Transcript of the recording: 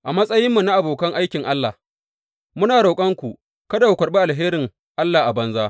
A matsayinmu na abokan aikin Allah, muna roƙonku kada ku karɓi alherin Allah a banza.